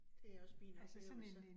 Det også min oplevelse